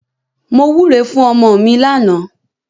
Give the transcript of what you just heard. Mo wúre fún ọmọ mi lánàá.